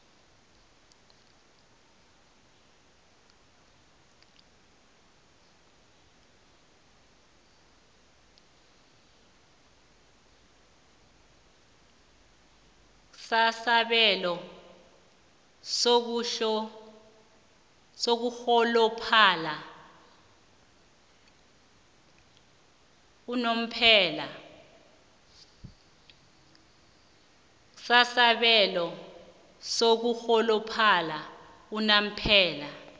sasabelo sokurholophala unomphela